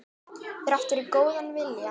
Þrátt fyrir góðan vilja.